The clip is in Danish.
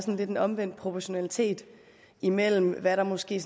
en omvendt proportionalitet imellem hvad der måske